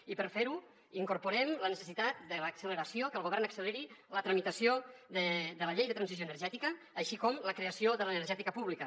i per fer ho incorporem la necessitat de l’acceleració que el govern acceleri la tramitació de la llei de transició energètica així com la creació de l’energètica pública